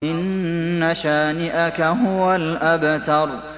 إِنَّ شَانِئَكَ هُوَ الْأَبْتَرُ